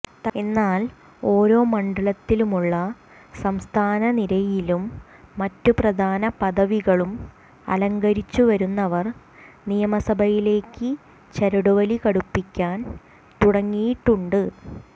എന്നാൽ ഓരോ മണ്ഡലത്തിലുമുള്ള സംസ്ഥാന നിരയിലും മറ്റു പ്രധാന പദവികളും അലങ്കരിച്ചു വരുന്നവർ നിയമസഭയിലേക്ക് ചരടുവലി കടുപ്പിക്കാൻ തുടങ്ങിയിട്ടുണ്ട്